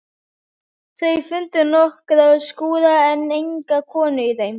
Þau fundu nokkra skúra en enga konu í þeim.